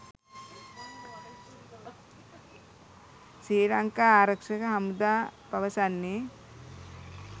ශ්‍රී ලංකා ආරක්ෂක හමුදා පවසන්නේ.